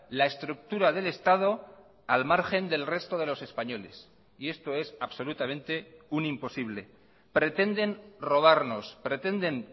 la estructura del estado al margen del resto de los españoles y esto es absolutamente un imposible pretenden robarnos pretenden